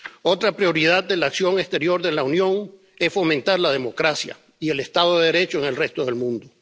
Otra prioridad de la acción exterior de la Unión es fomentar la democracia y el Estado de Derecho en el resto del mundo.